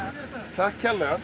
takk kærlega